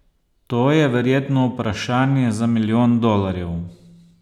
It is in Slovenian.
To je verjetno vprašanje za milijon dolarjev.